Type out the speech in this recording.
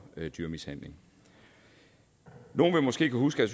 dyremishandling nogle vil måske kunne huske